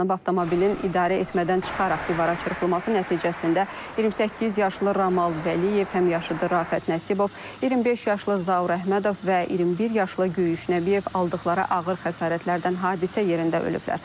Avtomobilin idarəetmədən çıxaraq divara çırpılması nəticəsində 28 yaşlı Ramal Vəliyev, həmyaşıdı Rafət Nəsibov, 25 yaşlı Zaur Əhmədov və 21 yaşlı Göyüş Nəbiyev aldıqları ağır xəsarətlərdən hadisə yerində ölüblər.